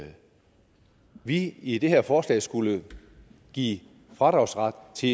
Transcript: vi i det her forslag skulle give fradragsret til